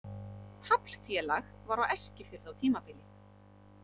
Taflfélag var á Eskifirði á tímabili.